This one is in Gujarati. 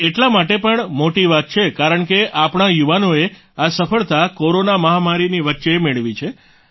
તે એટલા માટે પણ મોટી વાત છે કારણ કે આપણા યુવાનો એ આ સફળતા કોરોના મહામારીની વચ્ચે મેળવી છે